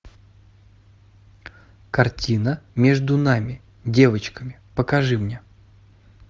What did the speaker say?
картина между нами девочками покажи мне